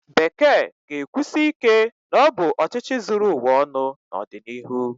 Bekee ga-ekwusi ike na ọ bụ ọchịchị zuru ụwa ọnụ n'ọdịnihu?